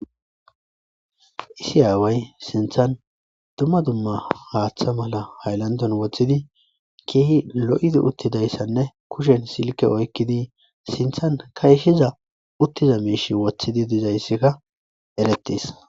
Isi aaway sinthan dumma dumma haaththa mala hayllandon woththidi keehi lo7idi uttidayssanne kushen silke oykkidi sinthan kayshiza uttiza miishi wothidi dizayssikka erettis.